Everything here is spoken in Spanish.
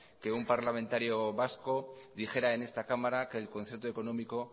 que un parlamentario vasco dijera en esta cámara que el concierto económico